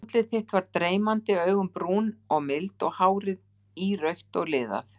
Útlit þitt var dreymandi, augun brún og mild, hárið írautt og liðað.